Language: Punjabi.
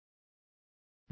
ਡਿਫਾਲਟ ਕੰਸਟਰਕਟਰ ਦੇ ਬਾਰੇ ਵਿੱਚ